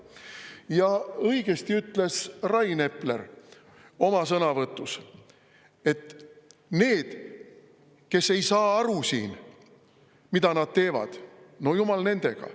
Ja õigesti ütles Rain Epler oma sõnavõtus, et need, kes ei saa siin aru, mida nad teevad, no jumal nendega.